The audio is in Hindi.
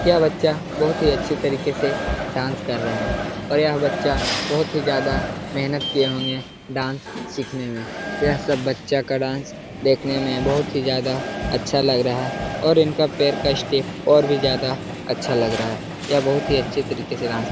यह बच्चा बहुत ही अच्छे तरीके से डांस कर रहा है और यह बच्चा बहुत ही ज्यादा मेहनत किये होंगे डांस सीखने में यह सब बच्चा का डांस देखने में बहुत ही ज्यादा अच्छा लग रहा है और इनका पैर का स्टेप और भी ज्यादा अच्छा लग रहा है यह बहुत ही अच्छे तरीके से डांस --